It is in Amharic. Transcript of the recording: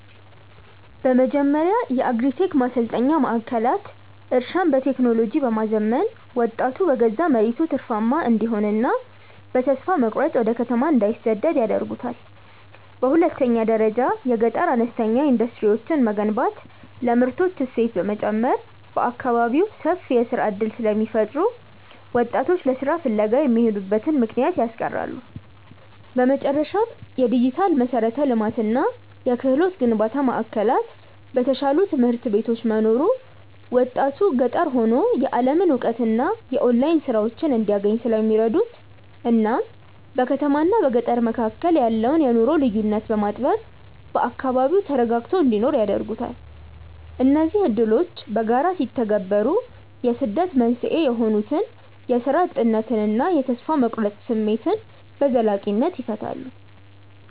በመጀመሪያ የአግሪ-ቴክ ማሰልጠኛ ማዕከላት እርሻን በቴክኖሎጂ በማዘመን ወጣቱ በገዛ መሬቱ ትርፋማ እንዲሆንና በተስፋ መቁረጥ ወደ ከተማ እንዳይሰደድ ያደርጉታል። በሁለተኛ ደረጃ የገጠር አነስተኛ ኢንዱስትሪዎችን መገንባት ለምርቶች እሴት በመጨመር በአካባቢው ሰፊ የሥራ ዕድል ስለሚፈጥሩ ወጣቶች ለሥራ ፍለጋ የሚሄዱበትን ምክንያት ያስቀራሉ። በመጨረሻም፣ የዲጂታል መሠረተ ልማትና የክህሎት ግንባታ ማዕከላት በተሻሉ ትምህርት ቤቶች መኖሩ ወጣቱ ገጠር ሆኖ የዓለምን እውቀትና የኦንላይን ሥራዎችን እንዲያገኝ ስለሚረዱት እናም በከተማና በገጠር መካከል ያለውን የኑሮ ልዩነት በማጥበብ በአካባቢው ተረጋግቶ እንዲኖር ያደርጉታል። እነዚህ ዕድሎች በጋራ ሲተገበሩ የስደት መንስኤ የሆኑትን የሥራ እጥነትና የተስፋ መቁረጥ ስሜት በዘላቂነት ይፈታሉ።